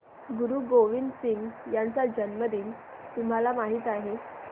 गुरु गोविंद सिंह यांचा जन्मदिन तुम्हाला माहित आहे